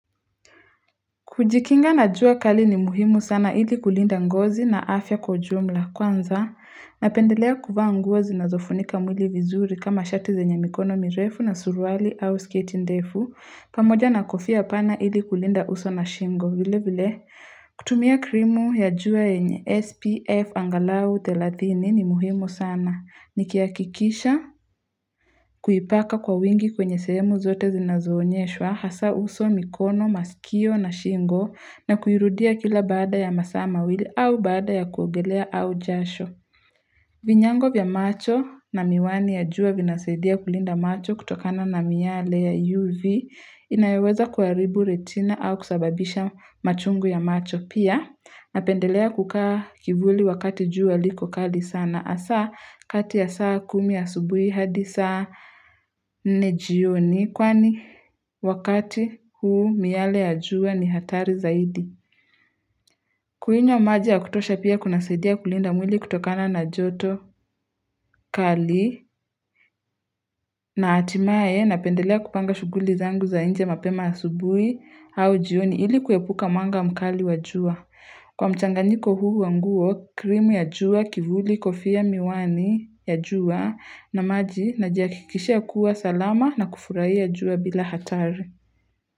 Kujikinga na jua kali ni muhimu sana ili kulinda ngozi na afya kwa jumla. Kwanza, napendelea kuvaa nguo zinazofunika mwili vizuri kama shati zenye mikono mirefu na surwali au skate ndefu. Pamoja na kofia pana ili kulinda uso na shingo. Vile vile, kutumia krimu ya jua yenye SPF angalau thelathini ni muhimu sana. Nikihakikisha kuipaka kwa wingi kwenye sehemu zote zinazoonyeshwa hasaa uso mikono, masikio na shingo na kuirudia kila baada ya masaa mawili au baada ya kuogelea au jasho. Vinyango vya macho na miwani ya jua vinasaidia kulinda macho kutokana na myale ya UV inayoweza kuharibu retina au kusababisha machungu ya macho. Pia napendelea kukaa kivuli wakati jua liko kali sana. Hasaa kati ya saa kumi asubuhi hadi saa nne jioni kwani wakati huo miale ya jua ni hatari zaidi. Kunywa maji ya kutosha pia kunasaidia kulinda mwili kutokana na joto kali na hatimaye napendelea kupanga shughuli zangu za nje mapema asubuhi au jioni. Ili kuepuka mwanga mkali wa jua. Kwa mchanganyiko huu wa nguo, cream ya jua, kivuli, kofia, miwani ya jua na maji najihakikisha kuwa salama na kufurahia jua bila hatari.